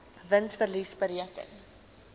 wins verlies bereken